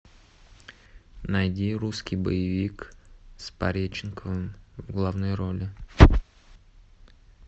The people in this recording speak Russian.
найди русский боевик с пореченковым в главной роли